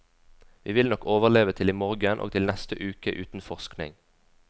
Vi vil nok overleve til i morgen og til neste uke uten forskning.